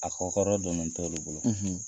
A kɔ hɔrɔn donnen t'olu bolo.